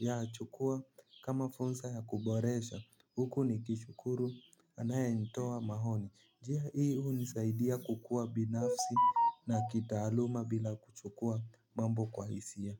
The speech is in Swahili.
nayachukua kama fursa ya kuboresha huku nikishukuru anayenitoa maoni njia hii hunisaidia kukua binafsi na kitaaluma bila kuchukua mambo kwa hisia.